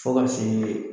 Fo ka se